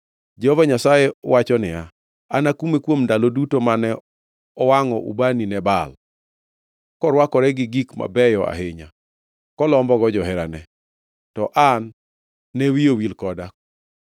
Jehova Nyasaye wacho niya, “Anakume kuom ndalo duto mane owangʼo ubani ne Baal; korwakore gi gik mabeyo ahinya kolombogo joherane, to an ne wiye owil koda.